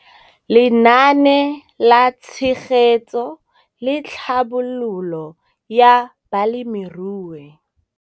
Lenaane la Tshegetso le Tlhabololo ya Balemirui.